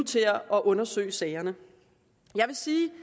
til at undersøge sagerne jeg vil sige